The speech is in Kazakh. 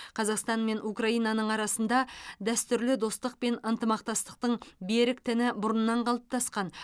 қазақстан мен украинаның арасында дәстүрлі достық пен ынтымақтастықтың берік тіні бұрыннан қалыптасқан